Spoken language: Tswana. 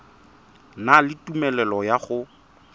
na le tumelelo ya go